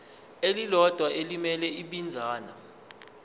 elilodwa elimele ibinzana